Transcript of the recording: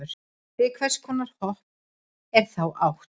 við hvers konar hopp er þá átt